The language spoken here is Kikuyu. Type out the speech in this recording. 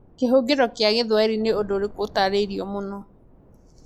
Kĩhũngĩro kĩa Gĩthwaĩri nĩ ũndũ ũrĩkũ ũtaarĩirio mũno?